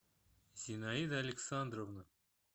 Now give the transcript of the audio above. зинаида александровна